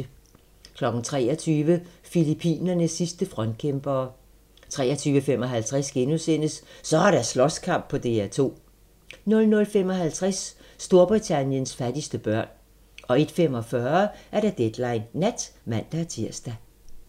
23:00: Filippinernes sidste frontkæmpere 23:55: Så er der slåskamp på DR2! * 00:55: Storbritanniens fattigste børn 01:45: Deadline Nat (man-tir)